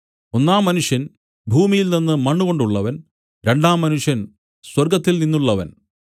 ഒന്നാം മനുഷ്യൻ ഭൂമിയിൽനിന്ന് മണ്ണുകൊണ്ടുള്ളവൻ രണ്ടാം മനുഷ്യൻ സ്വർഗ്ഗത്തിൽനിന്നുള്ളവൻ